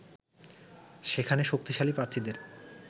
সেখানে শক্তিশালী প্রার্থীদের